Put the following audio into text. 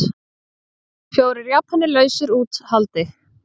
Fjórir Japanar lausir út haldi